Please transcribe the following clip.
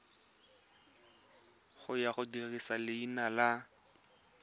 ya go dirisa leina la